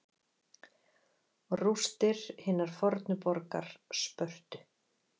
Rústir hinnar fornu borgar Spörtu.